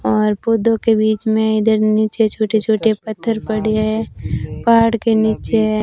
और पौधों के बीच में इधर नीचे छोटे छोटे पत्थर पड़े हैं पहाड़ के नीचे है।